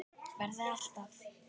Verði alltaf.